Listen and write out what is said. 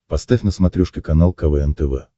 поставь на смотрешке канал квн тв